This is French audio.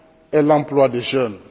et l'emploi des jeunes.